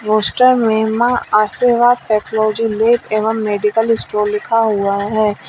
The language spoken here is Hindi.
पोस्टर में मां आर्शीवाद पैथोलॉजी लैब एवं मेडिकल स्टोर लिखा हुआ हैं।